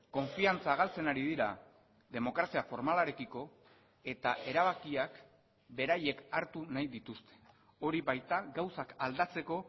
konfiantza galtzen ari dira demokrazia formalarekiko eta erabakiak beraiek hartu nahi dituzte hori baita gauzak aldatzeko